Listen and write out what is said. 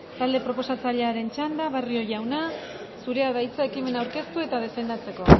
talde proposatzailearen txanda barrio jauna zurea da hitza ekimena aurkeztu eta defendatzeko